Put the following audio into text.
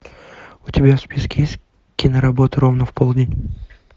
у тебя в списке есть киноработа ровно в полдень